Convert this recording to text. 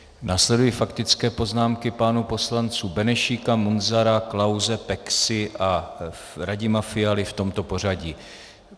Následují faktické poznámky pánů poslanců Benešíka, Munzara, Klause, Peksy a Radima Fialy v tomto pořadí.